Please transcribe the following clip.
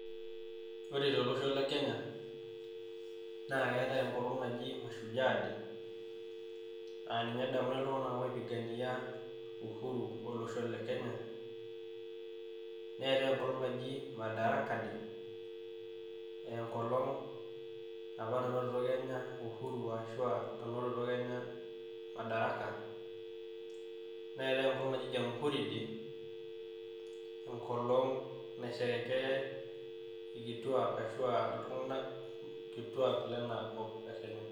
Ore te olosho le kenya, na keetai nkolong' najii mashujaa day aa ninye edamuni ill'tung'anak opigania uhuru olosho le Kenya. Neetai enkolong' naji madaraka day engolon apaa nanotito Kenya uhuru ashua nanotito kenya madaraka .Neetai enkolong' naji jamhuri day enkolong' nesherekea ill'kituak ashua illtung'ak ill'kituak lenaa kop le Kenya.